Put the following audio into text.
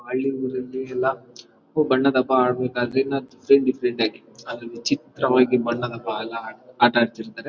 ಹಳ್ಳಿ ಊರಲ್ಲಿ ಎಲ್ಲ ಕಪ್ಪು ಬಣ್ಣದ ಡಿಫರೆಂಟ್ ಡಿಫರೆಂಟ್ ಆಗಿ ಅದೊಂದು ವಿಚಿತ್ರವಾಗಿ ಬಣ್ಣದ ಬಾಲ ಆಟ ಆಡ್ತಿರ್ತಾರೆ .